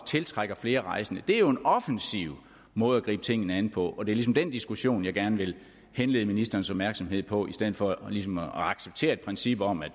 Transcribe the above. tiltrække flere rejsende det er jo en offensiv måde at gribe tingene an på og det er ligesom den diskussion jeg gerne vil henlede ministerens opmærksomhed på i stedet for ligesom at acceptere princippet om at